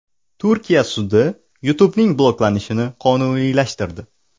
Turkiya sudi YouTube’ning bloklanishini qonuniylashtirdi.